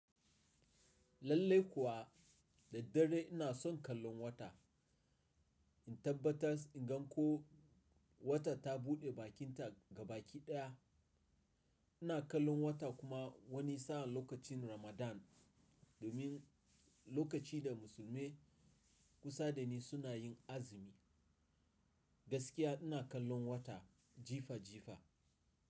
Lallai kuwa da daddare ina son kallon wata. In tabbatar in gan ko wata ta buɗe bakinta ga baki ɗaya. Ina kallon wata kuma wani sa'a lokacin Ramadan domin lokaci da musulmai kusa da ni suna yin azumi. Gaskiya ina kallon wata jifa jifa.